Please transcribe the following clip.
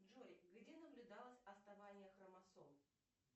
джой где наблюдалось отставание хромосом